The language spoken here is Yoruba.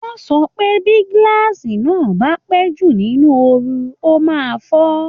Wọ́n sọ pé bí glass naà bá pẹ́ jù nínú òòrùn, ó máa fọ́